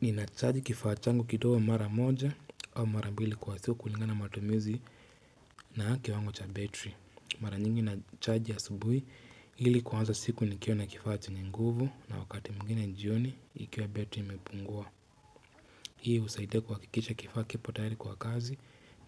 Ninacharge kifaa changu kidogo mara moja au mara mbili kwa siku kulingana matumizi na kiwango cha betri. Mara nyingi nacharge asubuhi ili kuanza siku nikiwa na kifaa chenye nguvu na wakati mwingine jioni ikiwa betri imepungua. Hii husaidia kuhakikisha kifaa kipo tayari kwa kazi